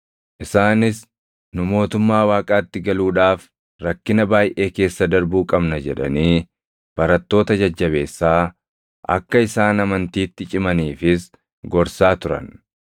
Isaanis, “Nu mootummaa Waaqaatti galuudhaaf rakkina baayʼee keessa darbuu qabna” jedhanii barattoota jajjabeessaa, akka isaan amantiitti cimaniifis gorsaa turan.